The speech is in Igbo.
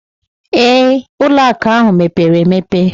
Ee, ụlọ akụ ahụ mepere emepe